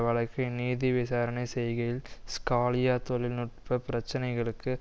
வழக்கை நீதி விசாரணை செய்கையில் ஸ்காலியா தொழில் நுட்ப பிரச்சினைகளுக்கு